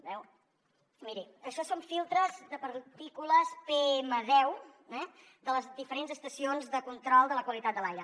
veu miri això són filtres de partícules pm10 de les diferents estacions de control de la qualitat de l’aire